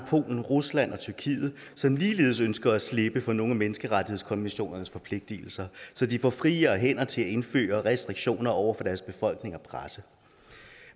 polen rusland og tyrkiet som ligeledes ønsker at slippe for nogle af menneskerettighedskonventionens forpligtelser så de får friere hænder til at indføre restriktioner over for deres befolkning og presse